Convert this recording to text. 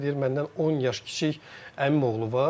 Deyir məndən 10 yaş kiçik əmim oğlu var.